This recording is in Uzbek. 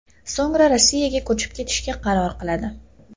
So‘ngra Rossiyaga ko‘chib ketishga qaror qiladi.